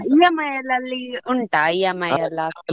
EMI ಅಲ್ಲಿ ಉಂಟಾ EMI ಎಲ್ಲ.